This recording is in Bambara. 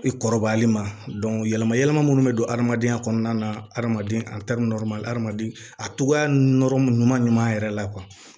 I kɔrɔbayali ma yɛlɛma yɛlɛma minnu bɛ don hadamadenya kɔnɔna na adamaden adamaden a togoya ɲuman yɛrɛ la